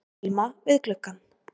Alma við gluggann.